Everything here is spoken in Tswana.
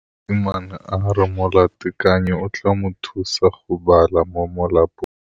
Mosimane a re molatekanyô o tla mo thusa go bala mo molapalong.